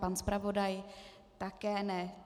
Pan zpravodaj také ne.